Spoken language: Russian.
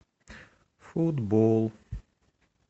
футбол